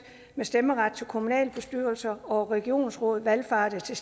med stemmeret til kommunalbestyrelser og regionsråd valfartede til